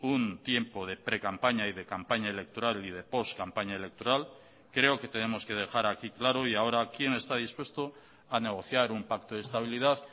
un tiempo de precampaña y de campaña electoral y de post campaña electoral creo que tenemos que dejar aquí claro y ahora quién está dispuesto a negociar un pacto de estabilidad